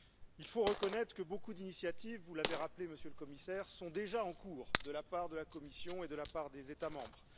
Il faut reconnaître que beaucoup d'initiatives vous l'avez rappelé, Monsieur le Commissaire sont déjà en cours de la part de la Commission et de la part des États membres.